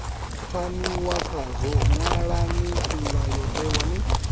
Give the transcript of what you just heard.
pfaniwa khazwo ṅwalani mulayotewa ni